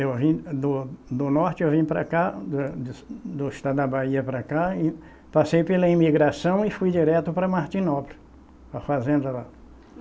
Eu vim do do norte, eu vim para cá, da do do estado da Bahia para cá, e e passei pela imigração e fui direto para Martinópolis, para a fazenda lá.